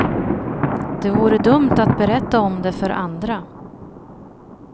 Det vore dumt att berätta om det för andra.